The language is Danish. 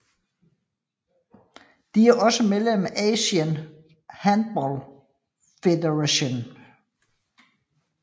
De er også medlem af Asian Handball Federation